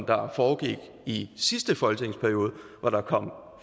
der foregik i sidste folketingsperiode hvor der kom